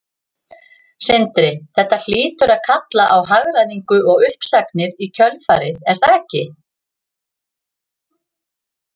Sindri: Þetta hlýtur að kalla á hagræðingu og uppsagnir í kjölfarið er það ekki?